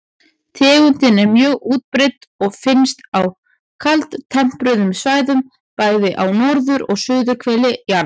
Tegundin er mjög útbreidd og finnst á kaldtempruðum svæðum, bæði á norður- og suðurhveli jarðar.